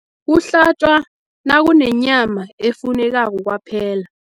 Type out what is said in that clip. Kuhlatjwa nakunenyama efunekako kwaphela.